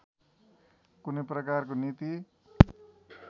कुनै प्रकारको नीति